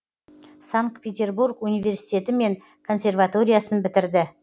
санкт петербург университеті мен консерваториясын бітірді